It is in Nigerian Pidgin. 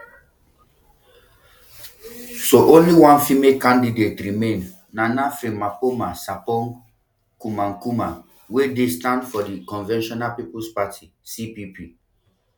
so only one female candidate remain nana frimpomaa sarpong kumankumah wey dey stand for di convention peoples party cpp